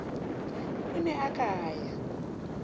o ne a ka ya